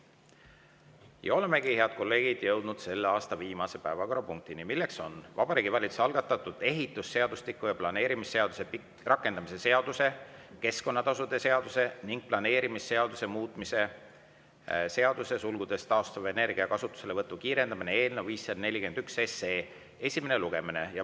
Ja olemegi, head kolleegid, jõudnud selle aasta viimase päevakorrapunktini, milleks on Vabariigi Valitsuse algatatud ehitusseadustiku ja planeerimisseaduse rakendamise seaduse, keskkonnatasude seaduse ning planeerimisseaduse muutmise seaduse eelnõu 541 esimene lugemine.